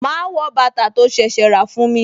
Ma wọ bàtà tó ṣẹ̀ṣẹ̀ rà fún mi